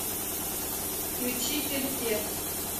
включи перфе